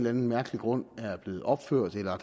anden mærkelig grund er blevet opført eller